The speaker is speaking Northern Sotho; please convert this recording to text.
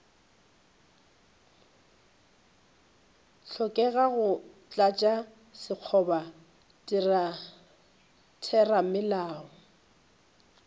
hlokega go tlatša sekgoba theramelao